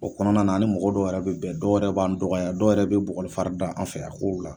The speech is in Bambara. O kɔnɔna na ni mɔgɔ dɔw yɛrɛ bɛ bɛn dɔw yɛrɛ b'an dɔgɔya dɔw yɛrɛ bɛ bugɔli fari da an fɛ a kow la